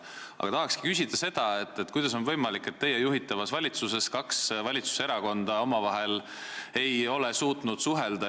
Aga tahan küsida, kuidas on võimalik, et teie juhitavas valitsuses kaks valitsuserakonda ei ole suutnud omavahel suhelda.